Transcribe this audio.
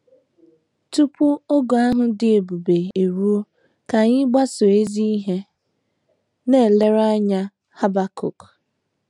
Tupu oge ahụ dị ebube eruo, ka anyị gbasoo ezi ihe nlereanya Habakuk.